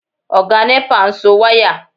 Ọ̀gá nẹ́pà ń so wáyà